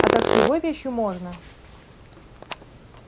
а так с любой вещью можно